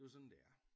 Det er jo sådan det er